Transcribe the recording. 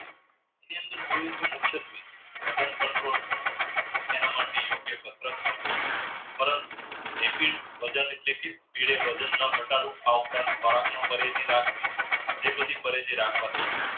મુખ્ય stage વજન control એના માટે યોગ્ય કસરત કરવી પરંતુ વજન ન ઘટાડવું પરેજી રાખવી તે બધી પરેજી રાખવાથી